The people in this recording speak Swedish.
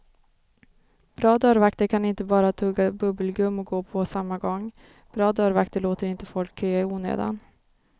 Bra dörrvakter kan inte bara tugga bubbelgum och gå på samma gång, bra dörrvakter låter inte folk köa i onödan.